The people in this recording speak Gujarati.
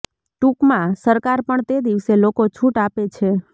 ટૂંકમાં સરકાર પણ તે દિવસે લોકો છૂટ આપે છે